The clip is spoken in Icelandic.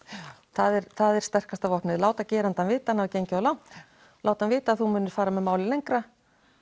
það er það er sterkasta vopnið að láta gerandann vita að hann hafi gengið of langt láta hann vita að þú munir fara með málið lengra